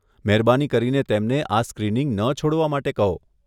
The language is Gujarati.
મહેરબાની કરીને તેમને આ સ્ક્રિનિંગ ન છોડવા માટે કહો.